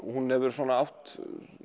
hún hefur svona átt